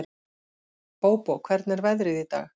Bóbó, hvernig er veðrið í dag?